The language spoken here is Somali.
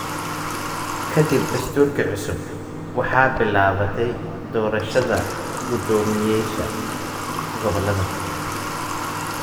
Ka dib dastuurkii cusub, waxaa bilaabatay doorashada guddoomiyeyaasha gobollada.